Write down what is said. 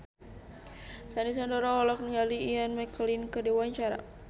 Sandy Sandoro olohok ningali Ian McKellen keur diwawancara